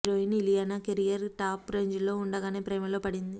heroine Ileana career top range లో ఉండగానే ప్రేమలో పడింది